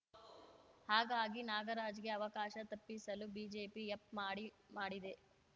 ಹಾಗಾಗಿ ನಾಗರಾಜ್‌ಗೆ ಅವಕಾಶ ತಪ್ಪಿಸಲು ಬಿಜೆಪಿ ಯಪ್‌ ಮಾಡಿ ಮಾಡಿದೆ